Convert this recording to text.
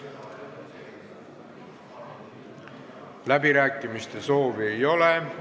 Kõnesoove ei ole.